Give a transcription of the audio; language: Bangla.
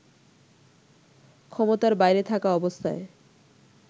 ক্ষমতার বাইরে থাকা অবস্থায়